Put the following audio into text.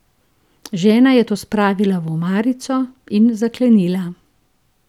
Žena je to spravila v omarico in zaklenila.